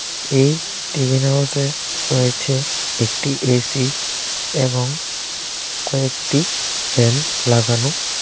এই tiffin house এ রয়েছে একটি এ_সি এবং কয়েকটি ফ্যান লাগানো।